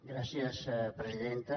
gràcies presidenta